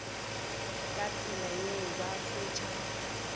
ka tsela yeo ba fetša